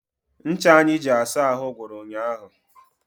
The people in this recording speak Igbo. Ncha anyị ji asa ahụ gwụrụ ụnyaahụ.